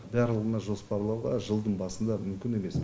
барлығына жоспарлау жылдың басында мүмкін емес